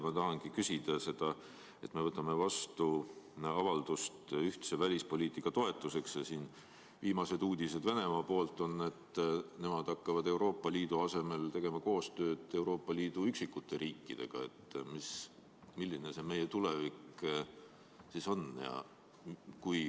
Ma tahan küsida, et kui me võtame vastu avalduse ühtse välispoliitika toetuseks ja viimased uudised Venemaalt on sellised, et nemad hakkavad Euroopa Liidu asemel tegema koostööd Euroopa Liidu üksikute riikidega, siis milline on meie tulevik?